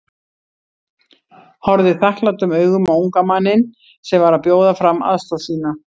Horfði þakklátum augum á unga manninn sem var að bjóða fram aðstoð sína.